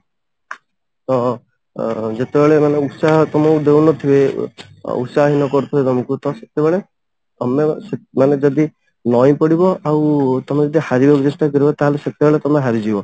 ତ ଅ ଯେତେବେଳେ ମାନେ ଉତ୍ସାହ ତମକୁ ଦଉନଥିବେ ଉତ୍ସାହହିନ କରୁଥିବେ ତମକୁ ତ ସେତେବେଳେ ତମେ ମାନେ ଯଦି ନଇଁ ପଡିବ ଆଉ ତମେ ଯଦି ହାରିବାକୁ ଚେଷ୍ଟା କରିବ ତାହେଲେ ସେତେବେଳେ ତମେ ହାରିଯିବ